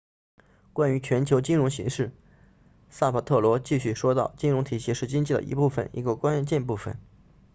关于全球金融形势萨帕特罗继续说道金融体系是经济的一部分一个关键部分